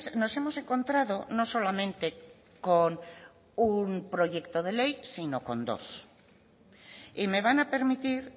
nos hemos encontrado no solamente con un proyecto de ley sino con dos y me van a permitir